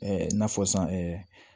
i n'a fɔ san